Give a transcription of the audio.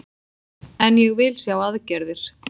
En ég vil sjá aðgerðir